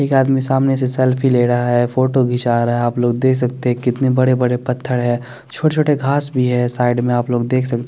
एक आदमी सामने से सेल्फी ले रहा हैं फोटो खींचा रहा हैं आप लोग देख सकते हे कितने बड़े बड़े पथर हे छोट छोटे घास भी हे साईड में आप लोग देख सकते हैं।